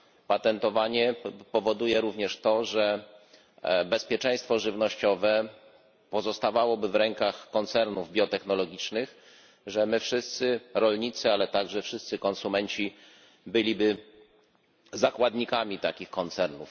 Patentowanie powoduje również to, że bezpieczeństwo żywnościowe pozostawałoby w rękach koncernów biotechnologicznych, że my, wszyscy rolnicy, ale także wszyscy konsumenci byliby zakładnikami takich koncernów.